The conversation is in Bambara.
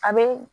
A be